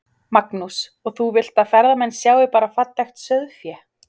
Magnús: Og þú vilt að ferðamenn sjái bara fallegt sauðfé?